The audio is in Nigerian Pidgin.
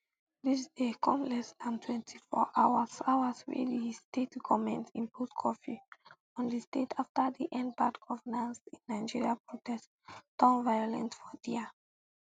dis dey come less dan um twenty-four hour hours wey di state goment impose curfew on di state afta di endbadgovernanceinnigeria protest um turn violent for dia